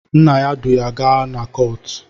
Nna ya du ya gaa na kọọtụ